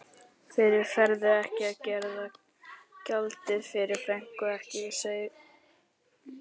Fyrr færðu ekki að greiða gjaldið, fyrr færðu ekki seglin.